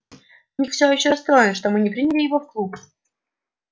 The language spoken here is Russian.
ник всё ещё расстроен что мы не приняли его в клуб